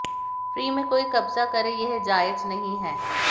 free में कोई कब्जा करे यह जायज नहीं है